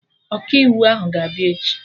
Ọkaiwu ahụ ga-abịa echi